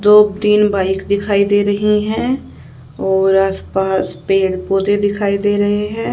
दो तीन बाइक दिखाई दे रही हैं और आस पास पेड़ पौधे दिखाई दे रहे हैं।